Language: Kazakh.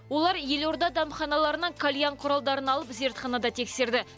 олар елорда дәмханаларынан кальян құралдарын алып зертханада тексерді